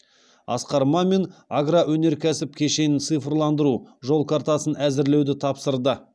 асқар мамин агроөнеркәсіп кешенін цифрландыру жол картасын әзірлеуді тапсырды